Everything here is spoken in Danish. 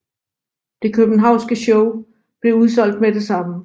Det københavnske show blev udsolgt med det samme